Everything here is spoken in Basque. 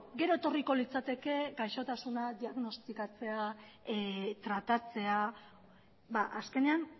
gero etorriko litzateke gaixotasunak diagnostikatzea tratatzea azkenean